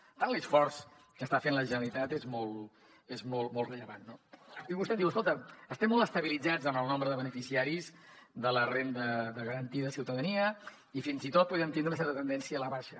per tant l’esforç que està fent la generalitat és molt rellevant no i vostè em diu escolta estem molt estabilitzats en el nombre de beneficiaris de la renda garantida de ciutadania i fins i tot podem tindre una certa tendència a la baixa